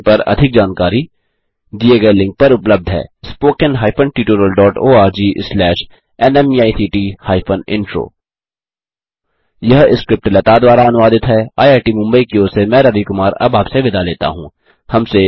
इस मिशन पर अधिक जानकारी दिए गए लिंक पर उपलब्ध है httpspoken tutorialorgNMEICT Intro यह स्क्रिप्ट लता द्वारा अनुवादित है आईआईटी मुंबई की ओर से मैं रवि कुमार अब आपसे विदा लेता हूँ